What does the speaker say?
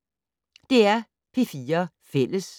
DR P4 Fælles